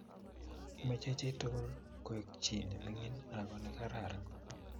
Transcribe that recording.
meche chii tugul koek chii nemining ago negararan